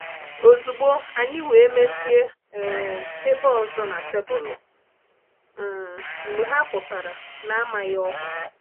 Ozugbo anyi wee mezie um ebe ọzọ na tebụl um mgbe ha pụtara n'amaghị ọkwa.